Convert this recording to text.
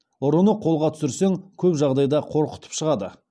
ұрыны қолға түсірсең көп жағдайда қорқытып шығады